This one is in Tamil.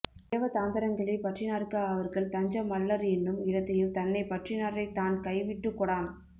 தேவதாந்தரங்களை பற்றினார்க்கு அவர்கள் தஞ்சம் அல்லர் என்னும் இடத்தையும் தன்னைப் பற்றினாரைத் தான் கை விட்டுக் கொடான்